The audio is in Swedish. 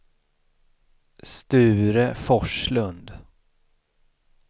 Sture Forslund